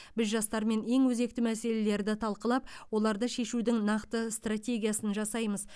біз жастармен ең өзекті мәселелерді талқылап оларды шешудің нақты стратегиясын жасаймыз